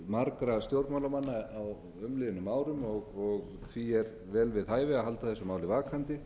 margra stjórnmálamanna á umliðnum árum og því er vel við hæfi að halda þessu máli vakandi